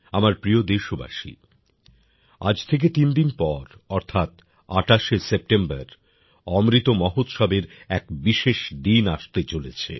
আমার প্রিয় দেশবাসী আজ থেকে তিন দিন পর অর্থাৎ ২৮শে সেপ্টেম্বর অমৃত মহোৎসবের এক বিশেষ দিন আসতে চলেছে